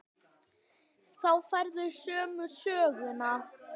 Þá færðu sömu söguna.